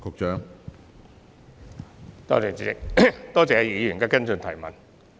主席，多謝易議員的補充質詢。